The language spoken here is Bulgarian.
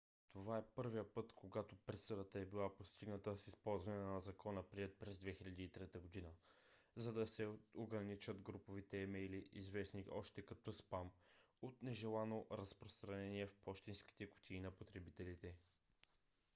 това е първият път когато присъдата е била постигната с използване на закона приет през 2003 г. за да се ограничат груповите имейли известни още като спам от нежелано разпространение в пощенските кутии на потребителите